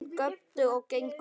Börn göptu og gengu með.